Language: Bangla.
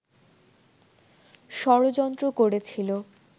ষড়যন্ত্র করেছিল